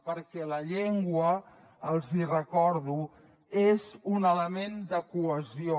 perquè la llengua els ho recordo és un element de cohesió